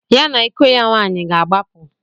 Ya na iko ya nwaanyị ga-agbapụ.